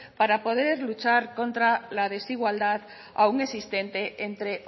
para poder luchar contra la desigualdad aun existente entre